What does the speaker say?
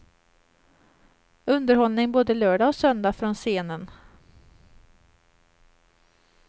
Underhållning både lördag och söndag från scenen.